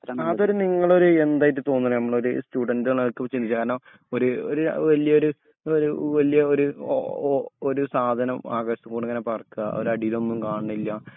ആ അതൊരു നിങ്ങളൊരു എന്തായിട്ടതോന്നുണെ നമ്മളൊരു സ്റ്റുഡന്റ് നെല്ക അത് ചിയാനോ ഒരുര് വല്യൊരു വലിയൊരു ഓ ഒര് സാധനം ആകാശത്തൂടെ ഇങ്ങനെ പറക്ക ഒര് അടീലോന്നും കാണില്ല